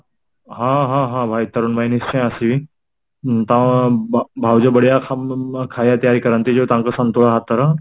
ହଁ ହଁ ହଁ ଭାଇ ତରୁଣ ଭାଇ ନିଶ୍ଟିୟ ଆସିବି ତମ ଭାଉଜ ବଢିଆ ଖାଇବା କରନ୍ତି ତାଙ୍କ ସନ୍ତୁଳା ହାତର